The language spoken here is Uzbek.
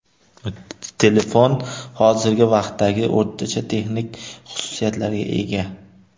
Telefon hozirgi vaqtdagi o‘rtacha texnik xususiyatlarga ega.